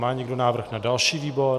Má někdo návrh na další výbor?